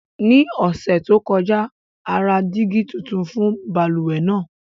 Ní ọṣẹ to kọja, a ra dígi tuntun kan fún bálúwẹ̀ naa.